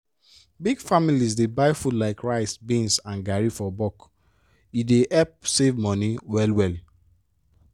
big families dey buy food like rice beans and garri for bulk—e dey help save money well-well.